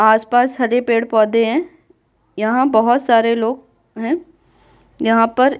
आसपास हरे पेड़-पौधे हैं यहाँ बहुत सारे लोग हैं यहाँ पर --